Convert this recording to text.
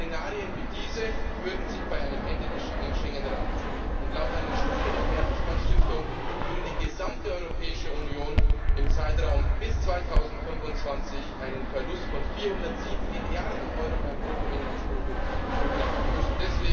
Szenarien wie diese würden sich bei einem Ende des Schengen Raums summieren, und laut einer Studie der Bertelsmann Stiftung würde die gesamte Europäische Union im Zeitraum bis 2025 einen Verlust von 407 Milliarden Euro beim Bruttoinlandsprodukt verkraften müssen.